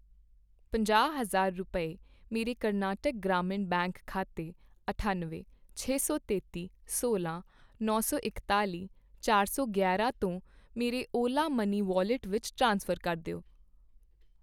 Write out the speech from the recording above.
ਪੰਜਾਹ ਹਜ਼ਾਰ ਰੁਪਏ, ਮੇਰੇ ਕਰਨਾਟਕ ਗ੍ਰਾਮੀਣ ਬੈਂਕ ਖਾਤੇ ਅਠੱਨਵੇਂ, ਛੇ ਸੌ ਤੇਤੀ, ਸੋਲ੍ਹਾਂ, ਨੌ ਸੌ ਇਕਤਾਲੀ, ਚਾਰ ਸੌ ਗਿਆਰਾ ਤੋਂ ਮੇਰੇ ਓਲਾ ਮਨੀ ਵੌਲਿਟ ਵਿੱਚ ਟ੍ਰਾਂਸਫਰ ਕਰ ਦਿਓ